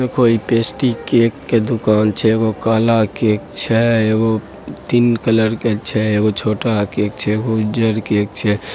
देखो इ केक के दुकान छै एगो काला केक छै एगो तीन कलर के छै एगो छोटा केक छै एगो उजर केक छै।